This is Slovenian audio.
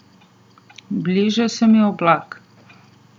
Bliža se mi oblak.